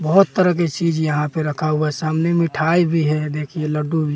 बहोत तरह के चीज यहां पे रखा हुआ सामने मिठाय भी है देखिये लड्डू भी --